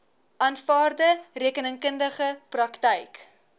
aanvaarde rekeningkundige praktyk